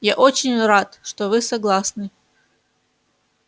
я очень рад что вы согласны